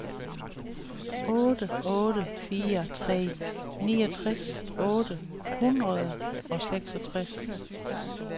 otte otte fire tre niogtres otte hundrede og seksogtres